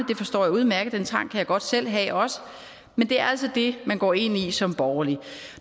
det forstår jeg udmærket den trang kan godt selv have men det er altså det man går ind i som borgerlig